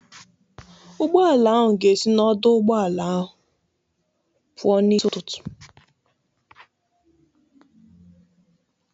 Ụgbọala ahụ ga-esi n'ọdọ ụgbọala ahụ pụọ n'isi ụtụtụ.